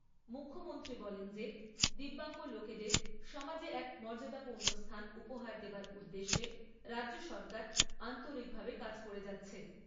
মুখ্যমন্ত্রী বলেন যে দিব্যাঙ্গ লোকেদের সমাজে এক মর্যাদাপূর্ণ স্থান উপহার দেবার উদ্দেশ্য রাজ্যসরকার আন্তরিকভাবে কাজ করে যাচ্ছে।